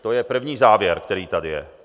To je první závěr, který tady je.